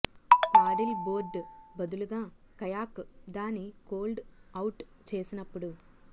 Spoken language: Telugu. పాడిల్ బోర్డ్ బదులుగా కయాక్ దాని కోల్డ్ అవుట్ చేసినప్పుడు